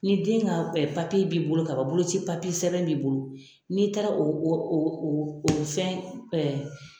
Ni den ŋa b'i bolo kaban boloci sɛbɛn b'i bolo, n'i taara o o o oo o fɛn